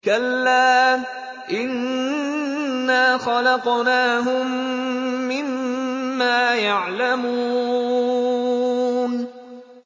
كَلَّا ۖ إِنَّا خَلَقْنَاهُم مِّمَّا يَعْلَمُونَ